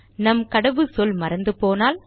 நம் கடவுச்சொல் மறந்து போனால்